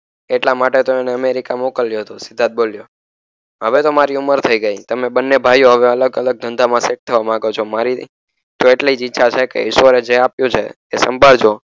એટલા માટે તો એને અમેરિકા મોકલ્યો હતો સિદ્ધાર્થ બોલ્યો હવે તો મારી ઉમર થઈ ગય તમે બને ભાઈઓ હવે અલગઅલગ ધંધામાં સેટ થવા માંગો છો મારી તો એટલીજ ઈચ્છા છેકે ઈશ્વરે જે આપ્યું છેએ સંભાળજો